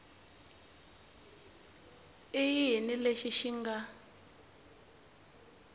i yini lexi xi nga